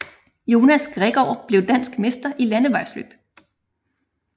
Jonas Gregaard blev dansk mester i landevejsløb